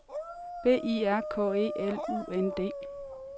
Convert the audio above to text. B I R K E L U N D